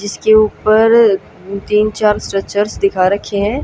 जिसके ऊपर अ तीन चार स्ट्रेचर्स दिखा रखे हैं।